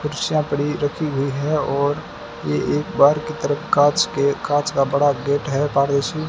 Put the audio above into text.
कुर्सियां पड़ी रखी हुई है और ये एक बार की तरफ कांच के कांच का बड़ा गेट है और ऐ_सी --